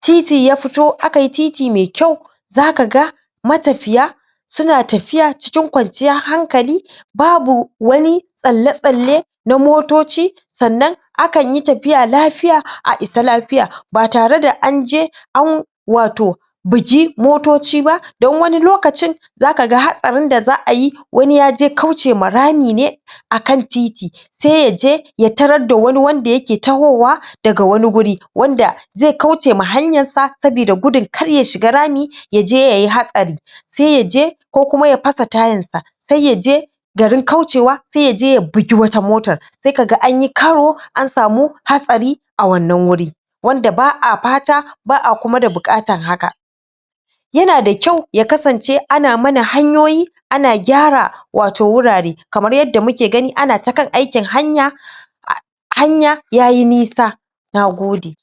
titi ya fito akai titi me kyau zaka ga matafiya suna tafiya cikin kwanciyar hankali babu wani tsalle-tsalle na motoci sannan akan yi tafiya lafiya a isa lafiya ba tare da an je an wato bugi motoci ba dan wani lokacin zaka ga hatsarin da za'ayi wani yaje kauce ma rami ne akan titi se yaje ya tarar da wani wanda yake tahowa daga wani guri wanda ze kauce ma hanyar sa sabida gudun kar ya shiga rami yaje yai hatsari se yaje ko kuma ya fasa tayar sa, sai yaje garin kaucewa sai ya je ya bugi wata motar sai kaga an yi kawo na samu hatsari a wannan wuri wanda ba'a fata ba'a da abuƙatar haka yana da kyau ya kasance ana mana hanyoyi ana gyara wato wurare kamar yadda muke gani ana ta kan aikin hanya hanya yayi nisa, na gode.